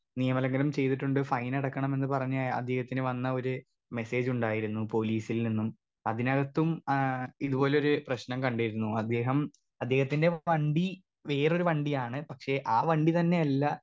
Speaker 2 നിയമലംഖനം ചെയ്തിട്ടുണ്ട് ഫൈനടക്കണമെന്ന് പറഞ്ഞ് അദ്ദേഹത്തിന് വന്ന ഒര് മെസ്സേജുണ്ടായിരുന്നു പോലീസിൽ നിന്നും അതിനകത്തും ആ ഇത് പോലൊരു പ്രശ്നം കണ്ടിരുന്നു അദ്ദേഹം അദ്ദേഹത്തിൻറെ വണ്ടി വേറൊരു വണ്ടിയാണ് പക്ഷെ ആ വണ്ടിത്തന്നെയല്ല.